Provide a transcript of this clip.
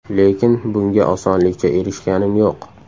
Lekin bunga osonlikcha erishganim yo‘q.